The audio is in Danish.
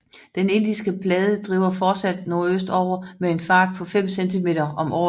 Den indiske plade driver fortsat nordøstover med en fart på 5 cm om året